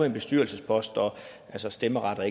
en bestyrelsespost og stemmeret og